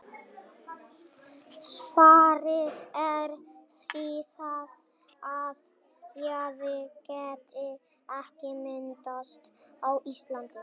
Svarið er því það, að jaði geti ekki myndast á Íslandi.